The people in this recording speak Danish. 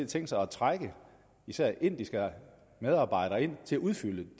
tænkt sig at trække især indiske medarbejdere ind til at udfylde